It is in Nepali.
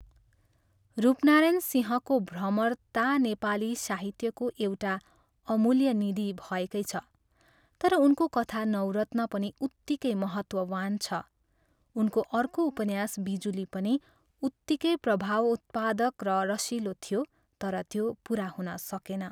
रूपनारायण सिंहको 'भ्रमर' ता नेपाली साहित्यको एउटा अमूल्य निधि भएकै छ, तर उनको कथा नवरत्न पनि उत्तिकै महत्त्ववान् छ, उनको अर्को उपन्यास 'बिजुली' पनि उत्तिकै प्रभावोत्पादक र रसिलो थियो तर त्यो पुरा हुन सकेन।